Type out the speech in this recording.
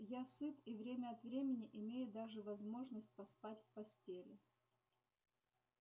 я сыт и время от времени имею даже возможность поспать в постели